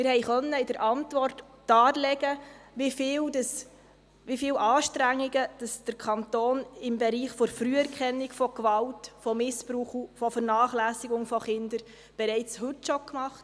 Wir haben in der Antwort darlegen können, wie viele Anstrengungen der Kanton im Bereich der Früherkennung von Gewalt, von Missbrauch und von Vernachlässigung von Kindern bereits heute schon macht.